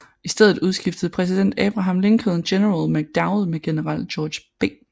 I stedet udskiftede præsident Abraham Lincoln general McDowell med general George B